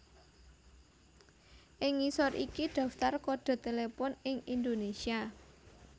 Ing ngisor iki daftar kodhe telepon ing Indonésia